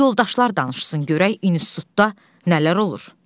Qoy yoldaşlar danışsın görək institutda nələr olur.